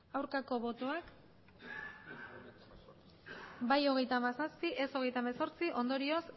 aurkako botoak bai hogeita hamazazpi ez hogeita hemezortzi ondorioz